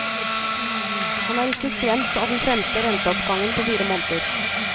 Han er ikke skremt av den femte renteoppgangen på fire måneder.